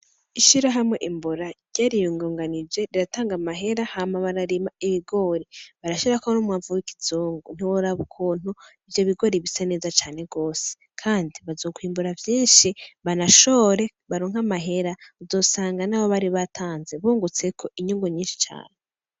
Isharahamwe imbura ryariyungunganije riratanga amahera hama bararima ibigori, barashirako n'umwavu w'ikizungu, ntiworaba ukuntu ivyo bigori bisa neza cane gose, kandi bazokwimbura vyishi banashore baronke amahera, uzosanga nayo bari batanze bungutseko inyungu nyishi cane.